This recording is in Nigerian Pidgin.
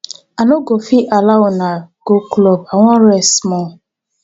i no go fit allow una go club i wan rest small